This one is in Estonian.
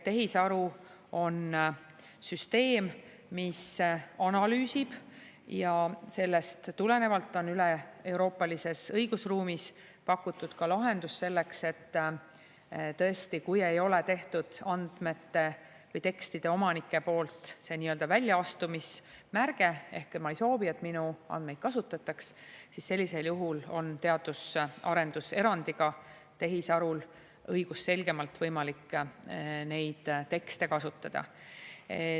Tehisaru on süsteem, mis analüüsib, ja sellest tulenevalt on üleeuroopalises õigusruumis pakutud ka lahendus selleks, et tõesti, kui ei ole tehtud andmete või tekstide omanike poolt seda nii-öelda väljaastumismärget, et ma ei soovi, et minu andmeid kasutataks, siis sellisel juhul on teadus- ja arendus erandiga tehisarul õigusselgemalt võimalik neid tekste kasutada.